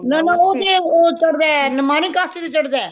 ਨਾ ਨਾ ਉਹ ਤੇ ਉਹ ਤੇ ਚੜਦਾ ਨਿਮਾਣੀ ਕਾਸਤੀ ਤੇ ਚੜਦਾ ਹੈ